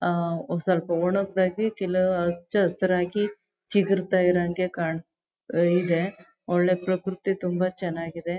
ಆಹ್ಹ್ ಸ್ವಲ್ಪ ಒಣಗದಾಗಿ ಕೆಲ ಹಚ್ಚ ಹಸ್ರಾಗಿ ಚಿಗುರ್ತ ಇರೋ ಹಂಗೆ ಕಾಣ್ಸ್ತಾ ಇದೆ ಒಳ್ಳೆ ಪ್ರಕೃತಿ ತುಂಬಾ ಚೆನ್ನಾಗಿದೆ.